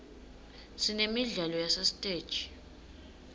sinemidlalo yasesiteji